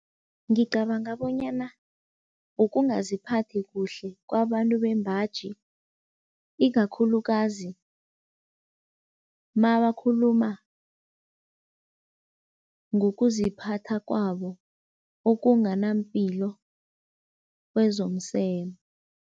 Ngicabanga bonyana ukungaziphathi kuhle kwabantu bembaji, ikakhulukazi mabakhuluma ngokuziphatha kwabo okunganampilo kwezomseme.